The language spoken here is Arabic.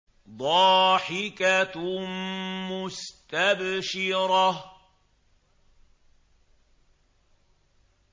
ضَاحِكَةٌ مُّسْتَبْشِرَةٌ